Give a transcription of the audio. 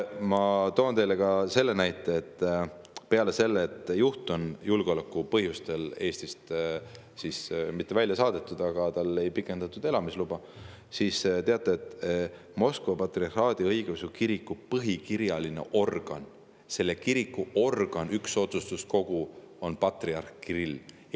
Ma toon teile ka selle näite, et peale selle, et juhti julgeolekupõhjustel mitte ei saadetud Eestist välja, vaid tema elamisluba ei pikendatud, teadke, et Moskva Patriarhaadi Õigeusu Kiriku põhikirjaline organ, selle kiriku organ, üks otsustuskogu on patriarh Kirill.